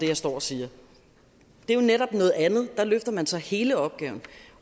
jeg står og siger det er jo netop noget andet for der løfter man så hele opgaven